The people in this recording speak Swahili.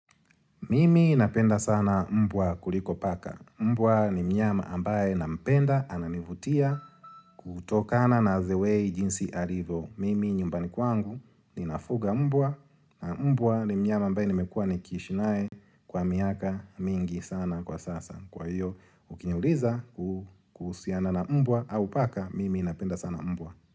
Mimi napenda sana mbwa kuliko paka. Mbwa ni mnyama ambaye na mpenda ananivutia kutokana na the way jinsi alivo. Mimi nyumbani kwangu ninafuga mbwa na mbwa ni mnyama ambaye nimekua nikiishi nae kwa miaka mingi sana kwa sasa. Kwa hiyo, ukiniuliza kuhusiana na mbwa au paka, mimi napenda sana mbwa.